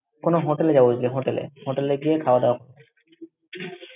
কোনো hotel এ যাবো গিয়ে hotel এ, hotel এ গিয়ে খাওয়া-দাওয়া করব।